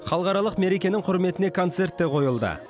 халықаралық мерекенің құрметіне концерт те қойылды